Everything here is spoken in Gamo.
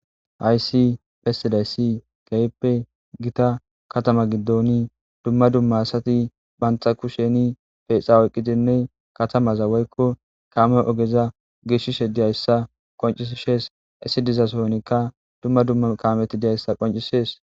Haysi pesiday si gayppe gita katama giddoni dumma dumma asati bantxa ku sheni feexa oyqqidinne katamaza woykko kaame ogeza gishshishe diyayssa qoncishees issi dizasonikka dumma dumma kaameti diyayssa qoncisees.